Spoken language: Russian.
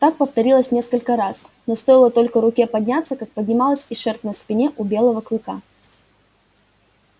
так повторилось несколько раз но стоило только руке подняться как поднималась и шерсть на спине у белого кыка